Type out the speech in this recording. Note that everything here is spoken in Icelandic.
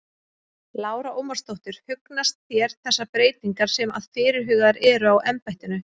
Lára Ómarsdóttir: Hugnast þér þessar breytingar sem að fyrirhugaðar eru á embættinu?